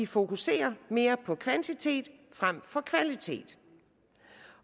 fokuserer mere på kvantitet frem for kvalitet